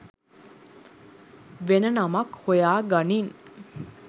වෙන නමක් හොයාගනින්